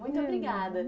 Muito obrigada.